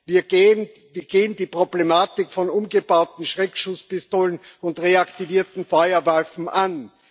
Wir gehen die Problematik von umgebauten Schreckschusspistolen und reaktivierten Feuerwaffen an.